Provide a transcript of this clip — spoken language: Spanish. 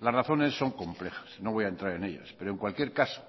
las razones son complejas no voy a entrar en ellas pero en cualquier caso